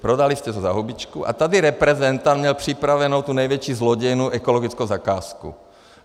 Prodali jste to za hubičku a tady reprezentant měl připravenu tu největší zlodějnu, ekologickou zakázku.